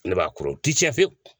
Ne b'a kuru ti tiɲɛ fiyewu